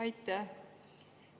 Aitäh!